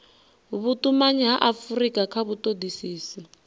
vhutumanyi ha afurika kha vhutodisisi